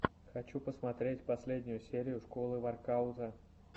хочу посмотреть последнюю серию школы воркаута